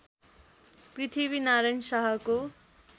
पृथ्वीनारायण शाहको